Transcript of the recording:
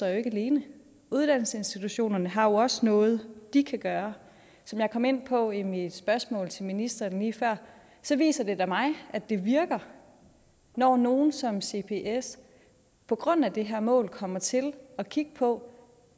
alene uddannelsesinstitutionerne har jo også noget de kan gøre som jeg kom ind på i mit spørgsmål til ministeren lige før viser det da mig at det virker når nogle som cbs på grund af det her mål kommer til at kigge på